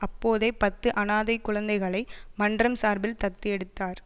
அப்போதே பத்து அனாதை குழந்தைகளை மன்றம் சார்பில் தத்து எடுத்தார்